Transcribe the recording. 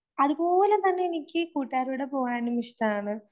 അതുപോലെ തന്നെ എനിക്ക് കൂട്ടുകാരുടെ പോകാനും ഇഷ്ടമാണ്.